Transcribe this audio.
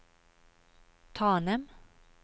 Tanem